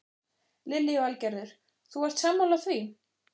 Lillý Valgerður: Þú ert sammála því?